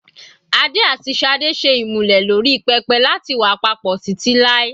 Adé àti Sade ṣe ìmúlẹ̀ lórí pẹpẹ láti wà papọ̀ títí láì.